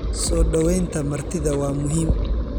Soo dhawaynta martida waa muhiim.